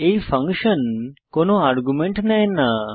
এই ফাংশন কোনো আর্গুমেন্ট নেয় না